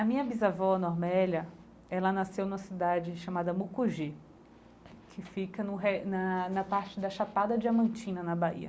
A minha bisavó, a Normélia, ela nasceu numa cidade chamada Mucugê, que fica no re na na parte da chapada Diamantina na Bahia.